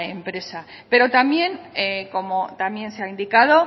empresa pero también como también se ha indicado